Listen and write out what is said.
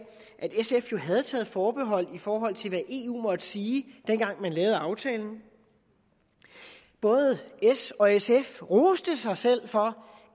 at sf jo havde taget forbehold i forhold til hvad eu måtte sige dengang man lavede aftalen både s og sf roste sig selv for